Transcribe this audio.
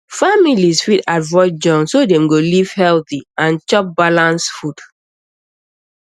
families fit avoid junk so dem go live healthy and chop balance food